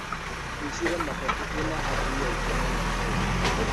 Haicire matatũ ĩna athii aingĩ mũno ũmũthĩ.